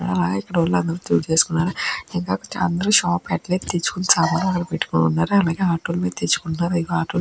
ఆ అ ఇక్కడ వీళ్ళందర్నీ చూస్తూఉంటే షాప్లు దగ్గర నుంచి సామాన్లు అవి పెట్టుకున్నారు అలాగే ఆటో ల మీద నుంచి తెచ్చుకున్నారు.